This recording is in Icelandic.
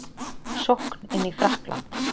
Sókn inn í Frakkland